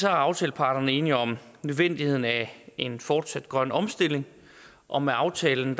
er aftaleparterne enige om nødvendigheden af en fortsat grøn omstilling og med aftalen